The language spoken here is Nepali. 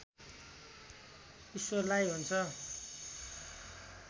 ईश्वरलाई हुन्छ